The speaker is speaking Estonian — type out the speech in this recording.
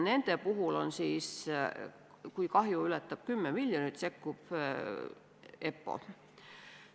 Nende puhul ka, kui kahju ületab 10 miljonit eurot, sekkub EPPO.